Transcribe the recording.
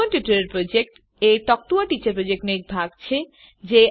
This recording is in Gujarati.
સ્પોકન ટ્યુટોરીયલ પ્રોજેક્ટ એ ટોક ટુ અ ટીચર પ્રોજેક્ટનો એક ભાગ છે